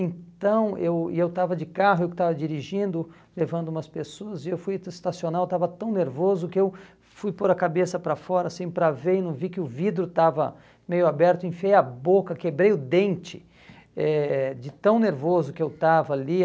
Então, eu eu estava de carro, eu que estava dirigindo, levando umas pessoas, e eu fui estacionar, eu estava tão nervoso que eu fui pôr a cabeça para fora, assim, para ver e não vi que o vidro estava meio aberto, enfiei a boca, quebrei o dente eh de tão nervoso que eu estava ali.